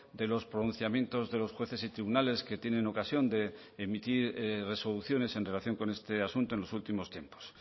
de los pronunciamientos de los jueces y tribunales que tienen ocasión de emitir resoluciones en relación con este asunto en los últimos tiempos